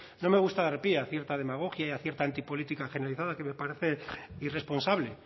no me gusta dar pie a cierta demagogia y a cierta antipolítica generalizada que me parece irresponsable